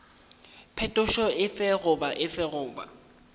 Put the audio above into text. phetošo efe goba efe goba